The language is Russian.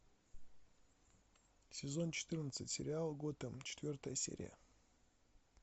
сезон четырнадцать сериал готэм четвертая серия